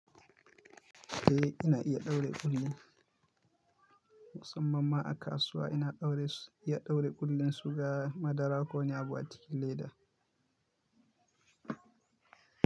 Eh, ina iya ɗaure ƙulli, musamman ma a kasuwa ina iya ɗaure ƙullun suga madara ko wani abu a cikin leda.